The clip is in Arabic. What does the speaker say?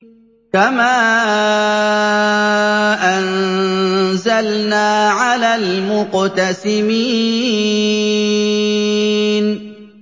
كَمَا أَنزَلْنَا عَلَى الْمُقْتَسِمِينَ